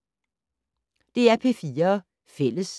DR P4 Fælles